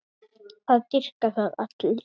Það dýrka það allir.